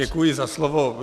Děkuji za slovo.